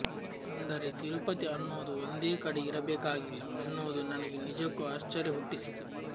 ಅಂದರೆ ತಿರುಪತಿ ಅನ್ನೋದು ಒಂದೇ ಕಡೆ ಇರಬೇಕಾಗಿಲ್ಲ ಅನ್ನೋದು ನನಗೆ ನಿಜಕ್ಕೂ ಆಶ್ಚರ್ಯ ಹುಟ್ಟಿಸಿತು